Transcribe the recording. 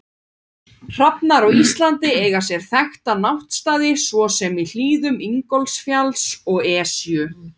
Hrafnar á Íslandi eiga sér þekkta náttstaði svo sem í hlíðum Ingólfsfjalls og Esju.